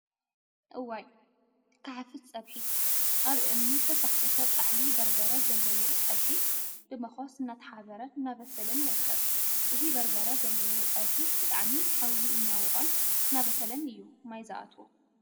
እዋይ! ክሓፍስ ፀብሒ… አብ እምኒ ዝተሰክተተ ፃሕሊ በርበረ ዘለዎ ፀብሒ ብመኮስ እናተሓበረን እናበሰለን ይርከብ፡፡ እዚ በርበረ ዘለዎ ፀብሒ ብጣዕሚ ሓዊ እናወቅፆን እናበሰለን እዩ ማይ ዝአትዎ፡፡